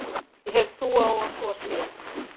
Ég hef trú á að svo sé.